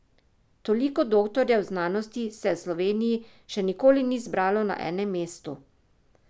Toliko doktorjev znanosti se v Sloveniji še nikoli ni zbralo na enem mestu.